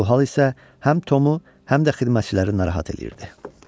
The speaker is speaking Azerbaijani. Bu hal isə həm Tomu, həm də xidmətçiləri narahat eləyirdi.